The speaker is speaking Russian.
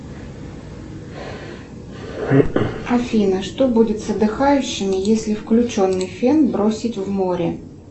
афина что будет с отдыхающими если включенный фен бросить в море